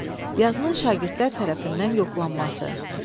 Yazının şagirdlər tərəfindən yoxlanması.